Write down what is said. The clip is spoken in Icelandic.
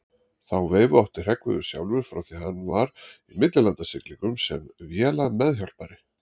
Þá veifu átti Hreggviður sjálfur frá því hann var í millilandasiglingum sem vélameðhjálpari.